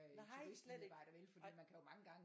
Nej slet ikke nej